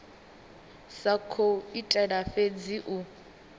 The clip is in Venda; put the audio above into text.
sa khou itela fhedzi u